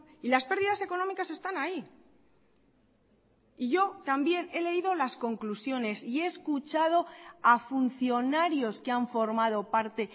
y las pérdidas económicas están ahí y yo también he leído las conclusiones y he escuchado a funcionarios que han formado parte